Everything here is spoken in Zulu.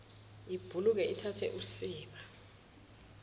ibhukule ithathe usiba